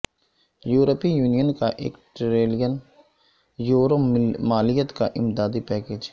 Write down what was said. یورپی یونین کا ایک ٹریلین یورو مالیت کا امدادی پیکیج